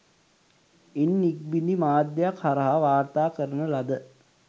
ඉන් ඉක්බිති මාධ්‍යයක් හරහා වාර්තා කරන ලද